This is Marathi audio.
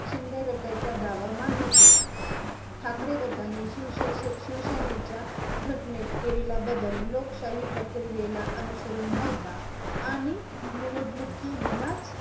शिंदे गटाचा दावा मान्य केला आहे. ठाकरे गटाने शिव शिव सेनेच्या घंटनेत केलेला बदल, लोकशाही प्रक्रिया ला अनुसरून नव्हता आणि निवडणुकी विनाच